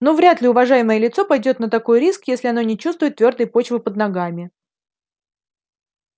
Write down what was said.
ну вряд ли уважаемое лицо пойдёт на такой риск если оно не чувствует твёрдой почвы под ногами